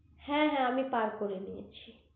হ্যা হ্যা আমি পার করে নিয়েছি